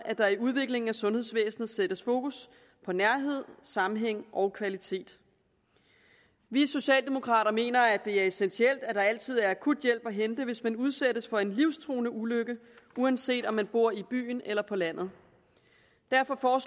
at der i udviklingen af sundhedsvæsenet sættes fokus på nærhed sammenhæng og kvalitet vi socialdemokrater mener at det er essentielt at der altid er akut hjælp at hente hvis man udsættes for en livstruende ulykke uanset om man bor i byen eller på landet derfor